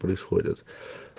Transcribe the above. происходят